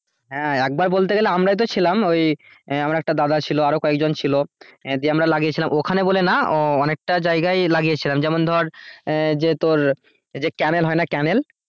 হ্যাঁ একবার বলতে গেলে আমরাই তো ছিলাম ওই আহ আমার একটা দাদা ছিল আর কয়েকজন ছিল দিয়ে আমরা লাগিয়েছিলাম ওখানে বলে না অনেকটা জায়গায় লাগিয়েছিলাম যেমন ধরে আহ এই যে তোর এই যে ক্যানেল হয় না ক্যানেল